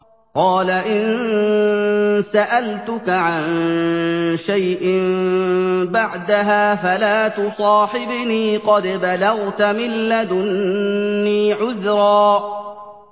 قَالَ إِن سَأَلْتُكَ عَن شَيْءٍ بَعْدَهَا فَلَا تُصَاحِبْنِي ۖ قَدْ بَلَغْتَ مِن لَّدُنِّي عُذْرًا